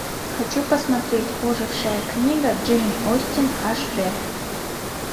хочу посмотреть ожившая книга джейн остин аш д